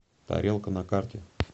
тарелка на карте